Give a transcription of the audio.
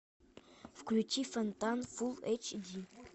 включи фонтан фул эйч ди